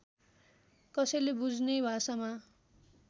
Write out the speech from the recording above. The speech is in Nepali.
कसैले बुझ्ने भाषामा